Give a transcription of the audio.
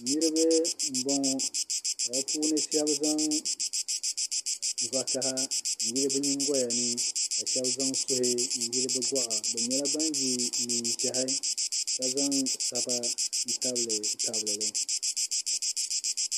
Niriba m-bɔŋɔ ka bɛ puuni shɛba zaŋ vakaha n-yili bɛ nyiŋgoya ni ka shɛba zaŋ suhi n-yili bɛ gɔɣa bɛ nyɛla ban ye neen'ʒɛhi ka zaŋ saba n-tabilitabili li